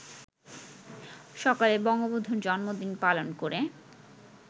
সকালে বঙ্গবন্ধুর জন্মদিন পালন করে